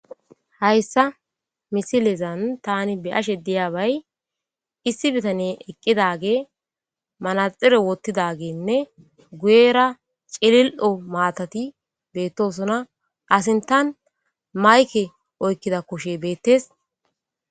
Hayssa misileza tani be'ashe dizay,issi bitaney eqqidagey manaxire wothidobayne guyera cililo maatati beetosona. Iza sinthen mayke oykida kushey beetees.